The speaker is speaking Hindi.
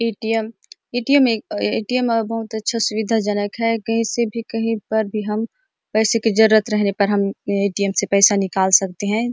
ए.टी.एम. ए.टी.एम. एक ए.टी.एम. अ बहुत अच्छा सुविधाजनक है कहीं से कहीं पर भी हम पैसे की जरुरत रहने पर हम ए.टी.एम. से पैसा निकल सकते हैं।